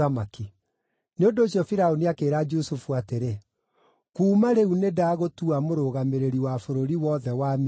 Nĩ ũndũ ũcio Firaũni akĩĩra Jusufu atĩrĩ, “Kuuma rĩu nĩndagũtua mũrũgamĩrĩri wa bũrũri wothe wa Misiri.”